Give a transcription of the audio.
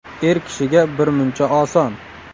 Er kishiga birmuncha oson.